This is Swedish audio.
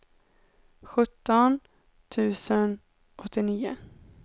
sjutton tusen åttionio